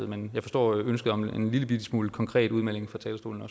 men jeg forstår ønsket om en lillebitte smule konkret udmelding fra talerstolen